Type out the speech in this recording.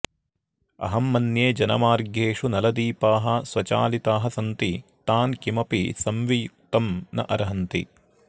अहं मन्ये जनमार्गेषु नलदीपाः स्वचालिताः सन्ति तान् किमपि संवियुत्कम् न अर्हन्ति